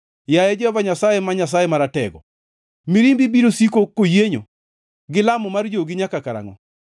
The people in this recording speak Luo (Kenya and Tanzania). Yaye Jehova Nyasaye, ma Nyasaye Maratego, mirimbi biro siko koyienyo, gi lamo mar jogi nyaka karangʼo?